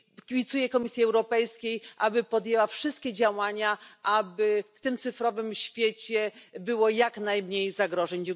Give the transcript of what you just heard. kibicuję Komisji Europejskiej, aby podjęła wszystkie działania, aby w tym cyfrowym świecie było jak najmniej zagrożeń.